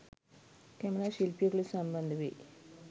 Camera ශිල්පියෙකු ලෙස සම්බන්ධ වෙයි.